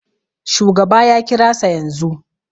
Shugaba ya kirasa yanzu